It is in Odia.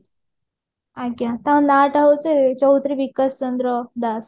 ଆଜ୍ଞା ତାଙ୍କ ନା ଟା ହଉଛି ଚୌଧୁରୀ ବିକାଶ ଚନ୍ଦ୍ର ଦାସ